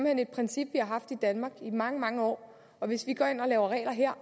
hen et princip vi har haft i danmark i mange mange år og hvis vi går ind og laver regler her